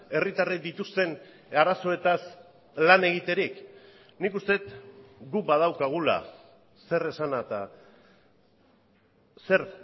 herritarrek dituzten arazoetaz lan egiterik nik uste dut guk badaukagula zer esana eta zer